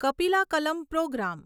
Kapila Kalam programme